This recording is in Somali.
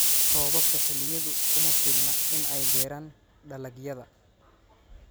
Roobabka xilliyeedku kuma filna in ay beeraan dalagyada.